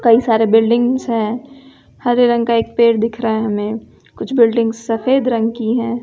कई सारे बिल्डिंग्स हैं हरे रंग का एक पेड़ दिख रहा है हमें कुछ बिल्डिंग सफेद रंग की हैं।